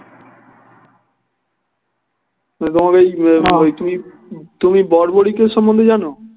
তোমাদের ওই তুমি, তুমি বর্বরিক সম্মন্ধে জানো?